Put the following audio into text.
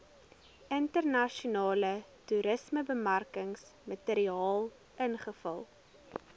internasionale toerismebemarkingsmateriaal invul